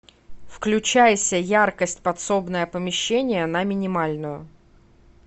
включайся яркость подсобное помещение на минимальную